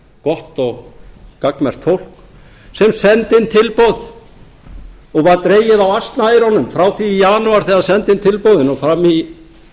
gott og gagnmerkt fólk sem sendi inn tilboð og var dregið á asnaeyrunum frá því í janúar þegar það sendi inn tilboðin og fram í